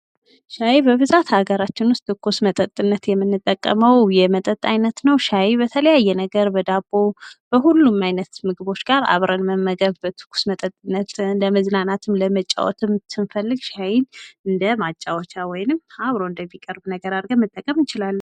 ሻይ በብዛት ሀገራችን ዉስጥ ትኩስ መጠጥነት የምንጠቀመው የመጠጥ አይነት ነው ፤ ሻይ በተለያየ ነገር በዳቦ፣ በሁሉም አይነት ምግቦች ጋር አብረን መመገብ፣ በትኩስ መጠጥነት፣ ለመዝናናት፣ ለመጫወትም ስንፈልግ ሻይን እንደ ማጫወቻ ወይንም አብሮ እንደሚቀርብ ነገር ማድረግም እንቺላለን።